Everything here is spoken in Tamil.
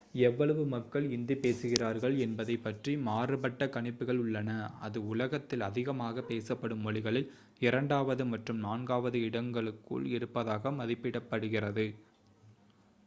எவ்வளவு மக்கள் இந்தி பேசுகிறார்கள் என்பதைப் பற்றி மாறுபட்ட கணிப்புகள் உள்ளன அது உலகத்தில் அதிகமாகப் பேசப்படும் மொழிகளில் இரண்டாவது மற்றும் நான்காவது இடங்களுக்குள் இருப்பதாக மதிப்பிடப்படுகிறது